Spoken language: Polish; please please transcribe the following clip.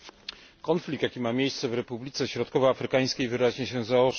Konflikt, jaki ma miejsce w Republice Środkowoafrykańskiej, wyraźnie się zaostrza.